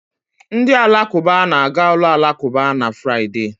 Ndị Alakụba na-aga ụlọ alakụba na Fraịde.